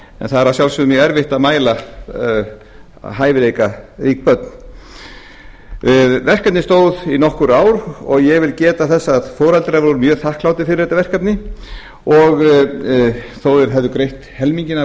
en það er að sjálfsögðu mjög erfitt að mæla hæfileikarík börn verkefnið stóð í nokkur ár og ég vil geta þess að foreldrar voru mjög þakklátir fyrir þetta verkefni þó að þeir hefðu greitt helminginn af